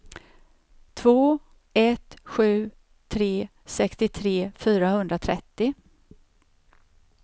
två ett sju tre sextiotre fyrahundratrettio